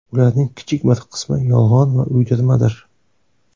Ularning kichik bir qismi yolg‘on va uydirmadir.